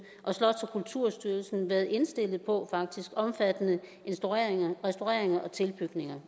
og slots og kulturstyrelsen faktisk været indstillet på at omfattende restaureringer og tilbygninger